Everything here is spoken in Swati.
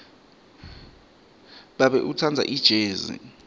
babe utsandza ijezi